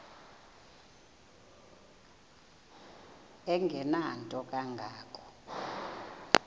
engenanto kanga ko